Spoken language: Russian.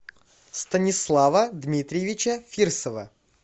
станислава дмитриевича фирсова